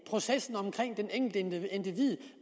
processen omkring det enkelte individ